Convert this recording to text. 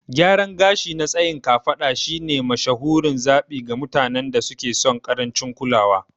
Gyaran gashi na tsayin kafada shine mashahurin zaɓi ga mutanen da suke son ƙarancin kulawa.